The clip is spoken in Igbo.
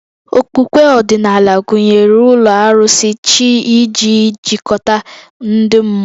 Okpukpe ọdịnala gụnyere ụlọ arụsị, chi iji jikọta ndị mmụọ